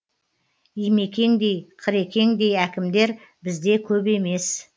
имекеңдей қырекеңдей әкімдер бізде көп емес